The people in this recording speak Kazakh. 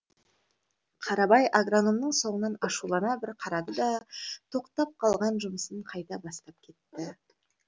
қарабай агрономның соңынан ашулана бір қарады да тоқтап қалған жұмысын қайта бастап кетті